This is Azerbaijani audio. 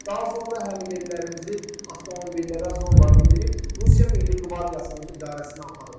Daha sonra həmyerlilərimizi avtomobillərə zorla mindirib Rusiya Milli Qvardiyasının idarəsinə aparıblar.